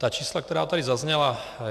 Ta čísla, která tady zazněla...